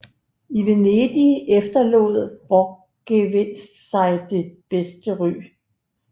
I Venedig efterlod Borchgrevinck sig det bedste ry